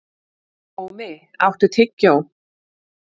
Ómi, áttu tyggjó?